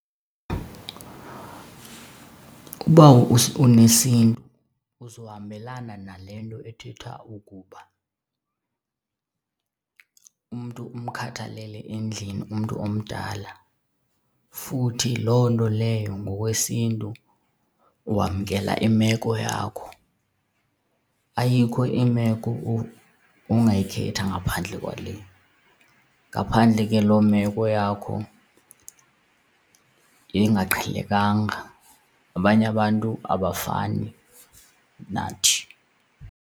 Uba unesiNtu uzohambelana nale nto ethethwayo ukuba umntu umkhathalele endlini umntu omdala futhi loo nto leyo ngokwesiNtu wamkela imeko yakho. Ayikho imeko ongayikhetha ngaphandle kwale, ngaphandle ke loo meko yakho yengaqhelekanga, abanye abantu abafani nathi.